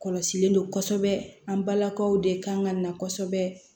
Kɔlɔsilen don kosɛbɛ an balakaw de kan ka na kosɛbɛ